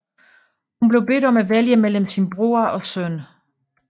Hun blev bedt om at vælge mellem sin bror og søn